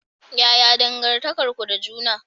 Yaya dangantakar ku da juna?